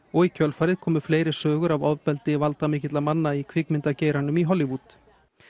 og í kjölfarið komu fleiri sögur af ofbeldi valdamikilla manna í kvikmyndageiranum í Hollywood